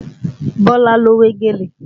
Bọ́lá ló wé gèlè